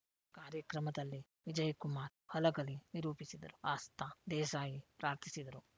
ಕಾರ್ಯಕ್ರಮದಲ್ಲಿ ವಿಜಯ್ ಕುಮಾರ್ ಹಲಗಲಿ ನಿರೂಪಿಸಿದರು ಆಸ್ತಾ ದೇಸಾಯಿ ಪ್ರಾರ್ಥಿಸಿದರು